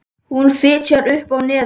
Hún fitjar upp á nefið.